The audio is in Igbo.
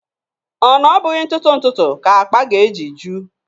Ọ na ọ bụghị ntụtụ ntụtụ ka akpa ga-eji ju?